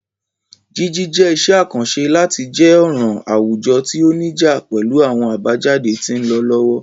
Jiji jẹ iṣẹ akanṣe lati jẹ ọran awujọ ti o nija pẹlu awọn abajade ti nlọ lọwọ.